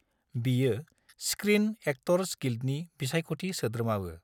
बियो screen actors गिल्डनि बिसायखथि सोद्रोमाबो।